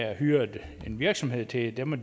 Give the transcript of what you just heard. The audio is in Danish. at hyre en virksomhed til det må